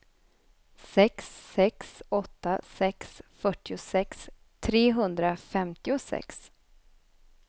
sex sex åtta sex fyrtiosex trehundrafemtiosex